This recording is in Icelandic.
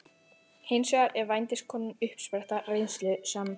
Hins vegar er vændiskonan uppspretta reynslu sem